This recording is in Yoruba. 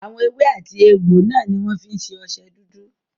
Àwọn èwe àti egbò náà ní wọ́n fí ń ṣe ọṣẹ dúdú.